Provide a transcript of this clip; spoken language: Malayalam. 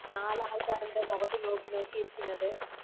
നാല് ആൾക്കാരുടെ മൊഖത്ത് നോക്കി നോക്കി ഇരിക്കുന്നത്